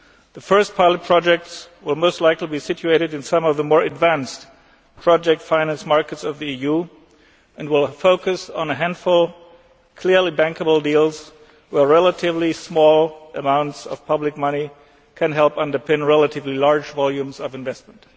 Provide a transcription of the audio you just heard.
The first pilot projects will most likely be situated in some of the more advanced project financed markets of the EU, and will focus on a handful of clearly bankable deals where relatively small amounts of public money can help underpin relatively large volumes of investment.